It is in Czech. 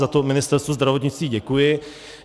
Za to Ministerstvu zdravotnictví děkuji.